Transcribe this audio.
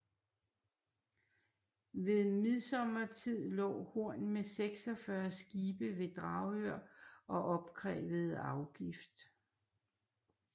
Ved midsommertid lå Horn med 46 skibe ved Dragør og opkrævede afgift